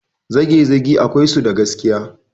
Zagezage akwai su da gaskiya.